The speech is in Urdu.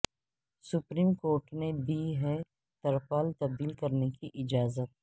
سپریم کورٹ نے دی ہے ترپال تبدیل کرنے کی اجازت